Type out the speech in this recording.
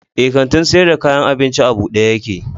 Eh, kantin sayar da kayan abincin a buɗe yake